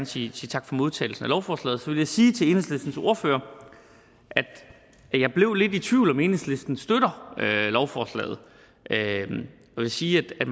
sige tak for modtagelsen af lovforslaget så vil jeg sige til enhedslistens ordfører at jeg blev lidt i tvivl om om enhedslisten støtter lovforslaget jeg vil sige at